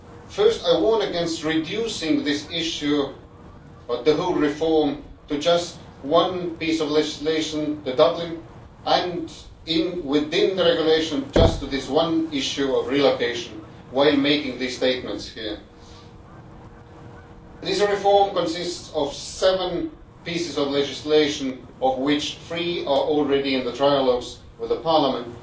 First, I warn against reducing this issue the whole reform to just one piece of legislation, the Dublin Regulation, and within the Regulation to just this one issue of relocation, when making these statements here. This reform consists of seven pieces of legislation, of which three are already in the trilogues with Parliament.